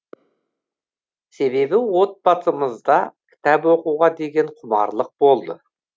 себебі отбасымызда кітап оқуға деген құмарлық болды